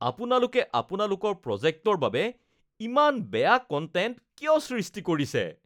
আপোনালোকে আপোনালোকৰ প্ৰজেক্টৰ বাবে ইমান বেয়া কন্টেন্ট কিয় সৃষ্টি কৰিছে?